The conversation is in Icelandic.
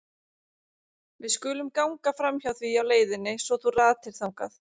Við skulum ganga framhjá því á leiðinni svo þú ratir þangað.